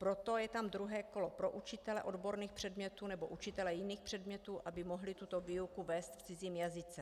Proto je tam druhé kolo pro učitele odborných předmětů nebo učitele jiných předmětů, aby mohli tuto výuku vést v cizím jazyce.